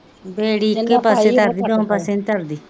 ਬੇੜੀ ਇੱਕੋ ਪਾਸੇ ਤਰਦੀ ਦੋਹਾਂ ਪਾਸੇ ਨਹੀਂ ਤਰਦੀ